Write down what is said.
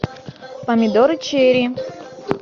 помидоры черри